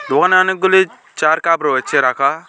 দোকানে অনেকগুলি চার কাপ রয়েছে রাখা।